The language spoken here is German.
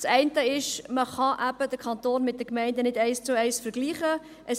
Das eine ist, dass man den Kanton nicht eins zu eins mit den Gemeinden vergleichen kann.